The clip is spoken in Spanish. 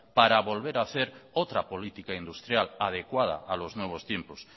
para poder hacer otra política industrial adecuada a los nuevos tiempos